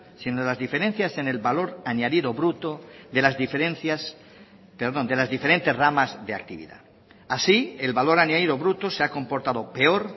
sino en las diferencias en el valor añadido bruto de las diferentes ramas de actividad así el valor añadido bruto se ha comportado peor